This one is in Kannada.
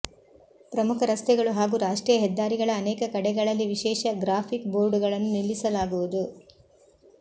ಪ್ರಮುಖ ರಸ್ತೆಗಳು ಹಾಗೂ ರಾಷ್ಟ್ರೀಯ ಹೆದ್ದಾರಿಗಳ ಅನೇಕ ಕಡೆಗಳಲ್ಲಿ ವಿಶೇಷ ಗ್ರಾಫಿಕ್ ಬೋರ್ಡುಗಳನ್ನು ನಿಲ್ಲಿಸಲಾಗುವುದು